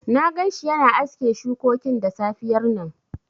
Na gan shi yana aske shukokin da safiyar nan